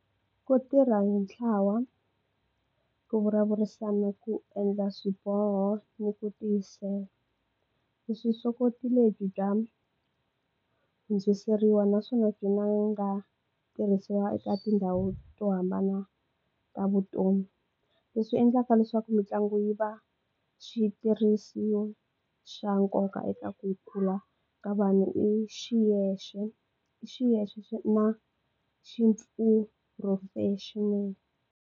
Ku tirha hi ntlawa, ku vulavurisana ku endla swiboho ni ku tiyisela vuswikoti lebyi bya hundziseriwa naswona byi nga tirhisiwa eka tindhawu to hambana ta vutomi leswi endlaka leswaku mitlangu yi va xitirhisiwa xa nkoka eka ku kula ka vanhu i xiyexe i xiyexe xo na xi professional.